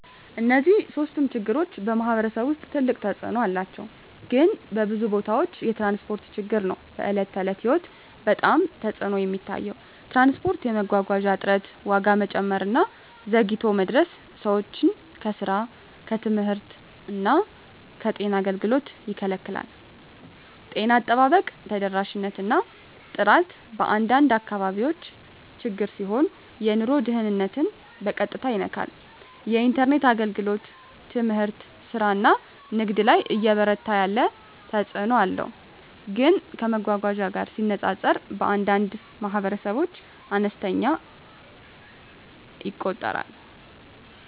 እነዚህ ሶስቱም ችግሮች በማኅበረሰብ ውስጥ ትልቅ ተፅእኖ አላቸው፣ ግን በብዙ ቦታዎች የትራንስፖርት ችግር ነው በዕለት ተዕለት ሕይወት ላይ በጣም ተፅዕኖ የሚታየው። ትራንስፖርት የመጓጓዣ እጥረት፣ ዋጋ መጨመር እና ዘግይቶ መድረስ ሰዎችን ከስራ፣ ከትምህርት እና ከጤና አገልግሎት ይከላከላል። ጤና አጠባበቅ ተደራሽነት እና ጥራት በአንዳንድ አካባቢዎች ችግር ሲሆን የኑሮ ደህንነትን በቀጥታ ይነካል። የኢንተርኔት አገልግሎት ትምህርት፣ ስራ እና ንግድ ላይ እየበረታ ያለ ተፅእኖ አለው፣ ግን ከመጓጓዣ ጋር ሲነጻጸር በአንዳንድ ማኅበረሰቦች አነስተኛ ይቆጠራል።